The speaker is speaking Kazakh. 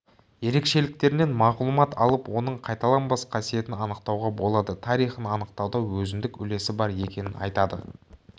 ерекшеліктерінен мағлұмат алып оның қайталанбас қасиетін анықтауға болады тарихын анықтауда өзіндік үлесі бар екенін айтады